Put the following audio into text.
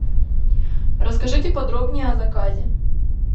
расскажите подробнее о заказе